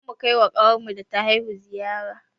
Za mu kai ma ƙawarmu da ta haihu ziyara